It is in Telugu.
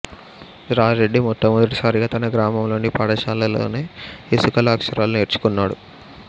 రాజ్ రెడ్డి మొట్టమొదటిసారిగా తన గ్రామంలోని పాఠశాలలోనే ఇసుకలో అక్షరాలు నేర్చుకున్నాడు